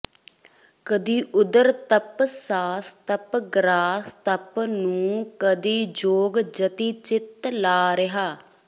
ਕਦੀ ਉਰਧ ਤਪ ਸਾਸ ਤਪ ਗਰਾਸ ਤਪ ਨੂੰ ਕਦੀ ਜੋਗ ਜਤੀ ਚਿਤ ਲਾ ਰਹਿਆ